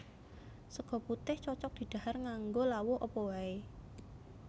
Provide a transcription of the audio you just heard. Sega putih cocog didhahar nganggo lawuh apa wae